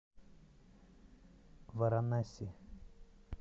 варанаси